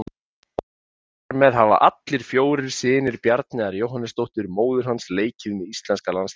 Þar með hafa allir fjórir synir Bjarneyjar Jóhannesdóttur, móður hans, leikið með íslenska landsliðinu.